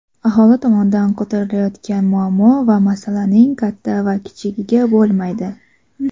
aholi tomonidan ko‘tarilayotgan muammo va masalaning katta va kichigi bo‘lmaydi.